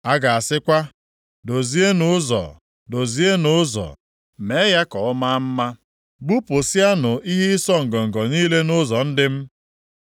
A ga-asịkwa, “Dozienụ ụzọ! Dozienụ ụzọ, mee ya ka ọ maa mma. Bupụsịanụ ihe ịsọ ngọngọ niile nʼụzọ ndị m.”